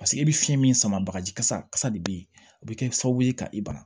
Paseke e bɛ fiyɛn min sama bagaji kasa kasa de bɛ yen o bɛ kɛ sababu ye ka i bana